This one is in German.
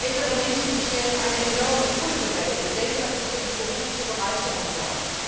Ältere Menschen stellen eine enorme kulturelle, gesellschaftliche und berufliche Bereicherung dar.